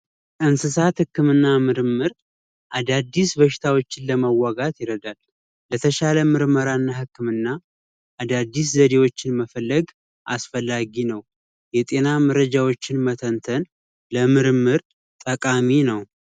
እንስሳት ህክምና ምርምር አዳዲስ በሽታዎች ለመዋጋት ይረዳል የተሻለ ምርመራና ህክምና አዳዲስ ዘዴዎችን መፈለግ አስፈላጊ ነው የጤና መረጃዎችን መተንተን የምርምር ጠቃሚ ነው